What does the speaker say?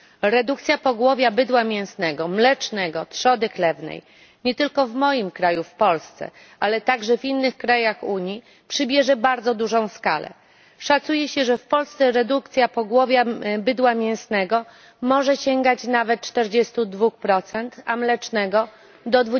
Redukcja pogłowia bydła mięsnego, mlecznego, trzody chlewnej nie tylko w moim kraju w Polsce, ale także w innych krajach Unii przybierze bardzo dużą skalę. Szacuje się, że w Polsce redukcja pogłowia bydła mięsnego może sięgać nawet 42, a mlecznego do